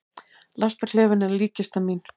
Lestarklefinn er líkkistan mín.